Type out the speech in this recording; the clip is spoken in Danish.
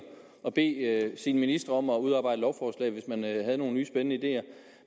at bede sine ministre om at udarbejde lovforslag hvis man havde nogle nye spændende ideer